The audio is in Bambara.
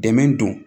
Dɛmɛ don